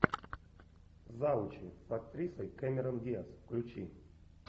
завучи с актрисой кэмерон диаз включи